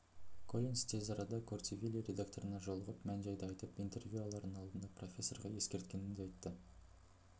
коллинс тез арада корти вилли редакторына жолығып мән-жайды айтып интервью алардың алдында профессорға ескерткенін де айтты